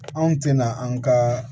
Anw tɛna an ka